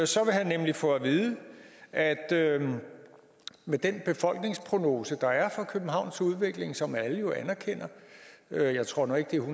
så vil han nemlig få at vide at med den befolkningsprognose der er for københavns udvikling som alle jo anerkender jeg tror nu ikke det